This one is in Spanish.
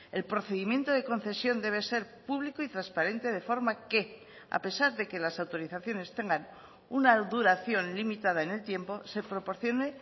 el procedimiento de concesión debe ser público y transparente de forma que a pesar de que las autorizaciones tengan una duración limitada en el tiempo se proporcione